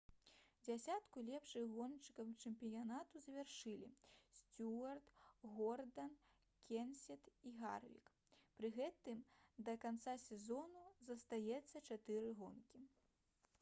дзесятку лепшых гоншчыкаў чэмпіянату завяршылі сцюарт гордан кенсет і гарвік пры гэтым да канца сезона застаецца чатыры гонкі